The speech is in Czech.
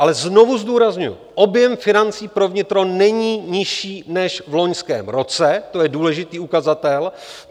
Ale znovu zdůrazňuji, objem financí pro vnitro není nižší než v loňském roce, to je důležitý ukazatel.